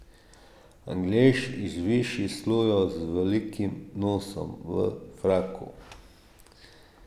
Anglež iz višjih slojev z velikim nosom, v fraku.